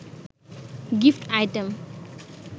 gift item